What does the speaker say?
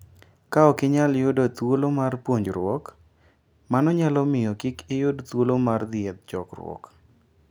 Ka ok inyal yudo thuolo mar puonjruok, mano nyalo miyo kik iyud thuolo mar dhi e chokruoge.